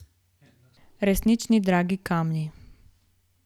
Resnični dragi kamni.